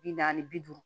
Bi naani bi duuru